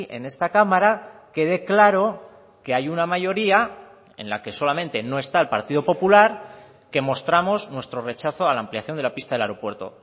en esta cámara quede claro que hay una mayoría en la que solamente no está el partido popular que mostramos nuestro rechazo a la ampliación de la pista del aeropuerto